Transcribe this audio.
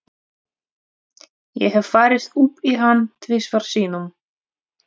Ég hef farið upp í hann tvisvar sinnum.